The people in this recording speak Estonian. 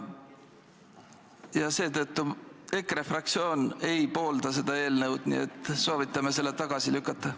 Ja seetõttu EKRE fraktsioon ei poolda seda eelnõu, nii et soovitame selle tagasi lükata.